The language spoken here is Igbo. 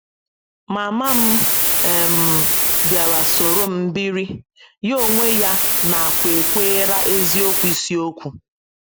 Mama m um bịara soro m biri, ya onwe ya nakwekwaara eziokwu ịsiokwu